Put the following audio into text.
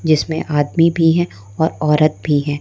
जिसमें आदमी भी हैं और औरत भी हैं।